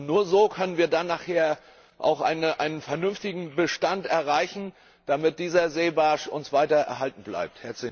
Nur so können wir dann nachher auch einen vernünftigen Bestand erreichen, damit dieser Seebarsch uns weiter erhalten bleibt.